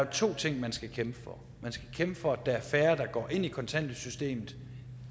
to ting man skal kæmpe for at man skal kæmpe for at der er færre der kommer ind i kontanthjælpssystemet